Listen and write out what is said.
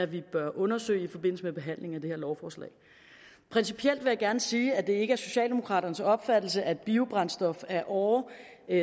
vi bør undersøge i forbindelse med behandlingen af det her lovforslag principielt vil jeg gerne sige at det ikke er socialdemokraternes opfattelse at biobrændstof ad åre